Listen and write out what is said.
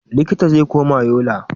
Likita zai koma Yola.